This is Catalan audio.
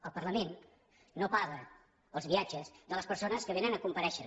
el parlament no paga els viatges de les persones que vénen a comparèixer